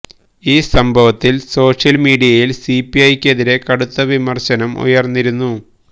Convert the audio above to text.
ഈ സംഭവത്തിൽ സോഷ്യൽ മീഡിയിൽ സിപിഐക്കെതിരെ കടുത്ത വിമർശനം ഉയർന്നിരുന്നു